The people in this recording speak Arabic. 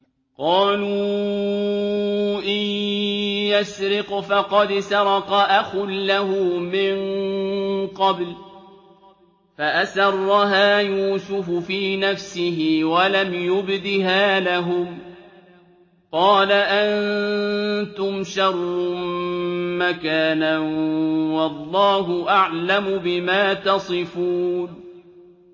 ۞ قَالُوا إِن يَسْرِقْ فَقَدْ سَرَقَ أَخٌ لَّهُ مِن قَبْلُ ۚ فَأَسَرَّهَا يُوسُفُ فِي نَفْسِهِ وَلَمْ يُبْدِهَا لَهُمْ ۚ قَالَ أَنتُمْ شَرٌّ مَّكَانًا ۖ وَاللَّهُ أَعْلَمُ بِمَا تَصِفُونَ